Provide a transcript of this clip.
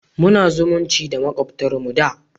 Muna zumunci da makwabtar mu da